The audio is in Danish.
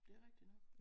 Det er rigtig nok